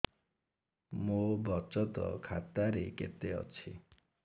ମୋ ବଚତ ଖାତା ରେ କେତେ ଅଛି